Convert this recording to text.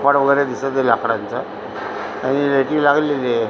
कपाट वगैरे दिसतय लाकडांच आणि लागलेलीय --